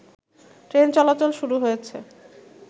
train চলাচল শুরু হয়েছে